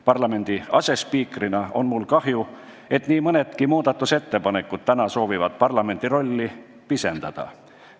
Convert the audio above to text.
Parlamendi asespiikrina on mul kahju, et nii mõnegi muudatusettepanekuga soovitakse parlamendi rolli pisendada.